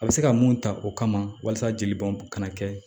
A bɛ se ka mun ta o kama walasa jeli bɔn kana kɛ